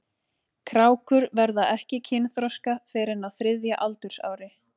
Krákur verða ekki kynþroska fyrr en á þriðja aldursári.